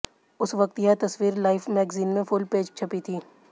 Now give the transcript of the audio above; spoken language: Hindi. उस वक्त यह तस्वीर लाइफ मैग्जीन में फुल पेज छपी थी